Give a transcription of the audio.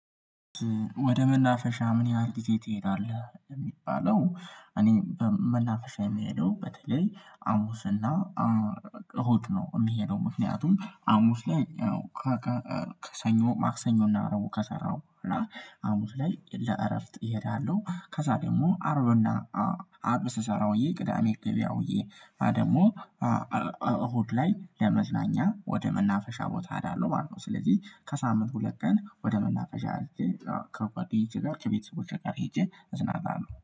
ወደ መናፈሻ ምን ያህል ጊዜ ትሄዳለህ የሚባለው? እኔ በመናፈሻ የምሄደው በተለይ ሀሙስና እሁድ ነው። የሚሄደው ምክንያቱም ሀሙስ ላይ አዎ ሰኞ ማክሰኞ እና እረቡ ከሰራው እና ሀሙስ ላይ ለእረፍት እሄዳለሁ። ከዛ ደግሞ አርብና አርብ ስሰራጨውዬ ቅዳሜ ገበያውዬ ደግሞ እሁድ ላይ ለመዝናኛ ወደ መናፈሻ ቦታ ሄዳለሁም ማለት ነው። ስለዚህ ከሳምንት ሁለት ቀን ወደ መናፈሻ ከጓደኞቼ ሄጄ ጋር ከቤተሰቦቼ ጋር ሄጄ እዝናናለሁ